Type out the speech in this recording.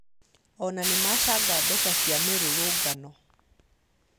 Onao nĩmacanga mbeca cia mĩrũrũngano